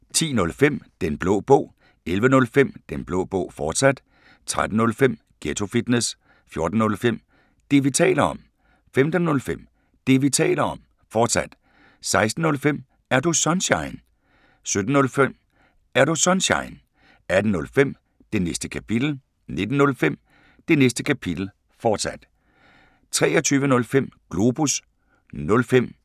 10:05: Den Blå Bog 11:05: Den Blå Bog, fortsat 13:05: Ghetto Fitness 14:05: Det, vi taler om 15:05: Det, vi taler om, fortsat 16:05: Er Du Sunshine? 17:05: Er Du Sunshine? 18:05: Det Næste Kapitel 19:05: Det Næste Kapitel, fortsat 23:05: Globus